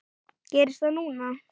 Gerist það núna?